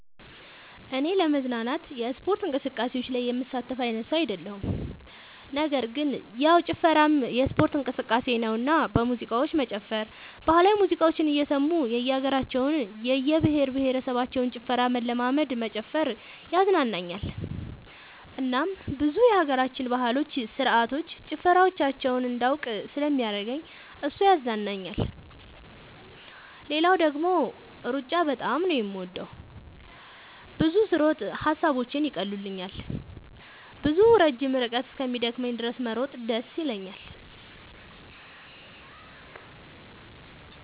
እኔ ለመዝናናት የስፖርት እንቅስቃሴዎች ላይ የምሳተፍ አይነት ሰው አይደለሁም ነገር ግን ያው ጭፈራም የስፖርት እንቅስቃሴ ነውና በሙዚቃዎች መጨፈር ባህላዊ ሙዚቃዎችን እየሰሙ የእየሀገራቸውን የእየብሄረሰቦችን ጭፈራ መለማመድ መጨፈር ያዝናናኛል እናም ብዙ የሀገራችንን ባህሎች ስርዓቶች ጭፈራዎቻቸውን እንዳውቅ ስለሚያደርገኝ እሱ ያዝናናኛል። ሌላው ደግሞ ሩጫ በጣም ነው የምወደው። ብዙ ስሮጥ ሐሳቦቼን ይቀሉልኛል። ብዙ ረጅም ርቀት እስኪደክመኝ ድረስ መሮጥ ደስ ይለኛል።